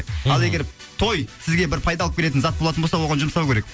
ал егер той сізге бір пайда алып келетін зат болатын болса оған жұмсау керек